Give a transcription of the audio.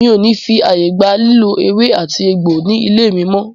Mi o ní fí ààyè gba lílò ewé àti egbò ní ilé mí mọ́!